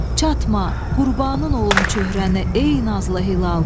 Çatma, qurbanın olum çöhrəni, ey nazlı hilal!